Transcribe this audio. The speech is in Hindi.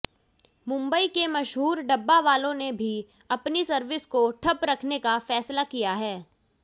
मुंबई के मशहूर डब्बावालों ने भी अपनी सर्विस को ठप्प रखने का फैसला किया है